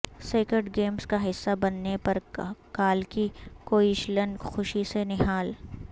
sacred games کا حصہ بننے پر کالکی کوئچلن خوشی سے نہال